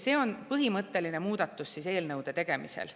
See on põhimõtteline muudatus eelnõude tegemisel.